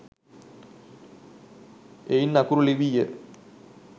එයින් අකුරු ලිවීය.